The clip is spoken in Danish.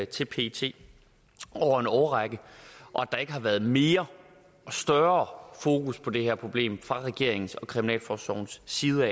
til pet over en årrække og at der ikke har været mere og større fokus på det her problem fra regeringens og kriminalforsorgens side